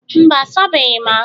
mba, a sabeghị m ahụ